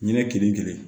Ɲinɛ kelen kelen